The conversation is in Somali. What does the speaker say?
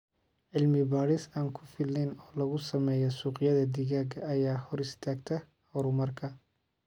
Cilmi-baadhis aan ku filnayn oo lagu sameeyo suuqyada digaaga ayaa hor istaagta horumarka.